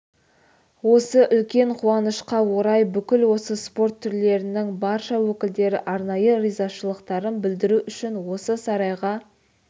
осы үлкен қуанышқа орай бүкіл осы спорт түрлерінің барша өкілдері арнайы ризашылықтарын білдіру үшін осы сарайға